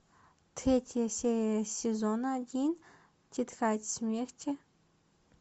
третья серия сезона один тетрадь смерти